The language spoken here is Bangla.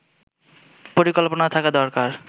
পরিকল্পনা থাকা দরকার